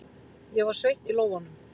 Ég var sveitt í lófunum.